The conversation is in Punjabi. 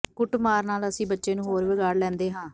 ਕੁੱਟਮਾਰ ਨਾਲ ਅਸੀਂ ਬੱਚੇ ਨੂੰ ਹੋਰ ਵਿਗਾੜ ਲੈਂਦੇ ਹਾਂ